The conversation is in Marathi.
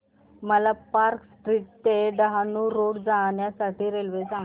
मला पार्क स्ट्रीट ते डहाणू रोड जाण्या साठी रेल्वे सांगा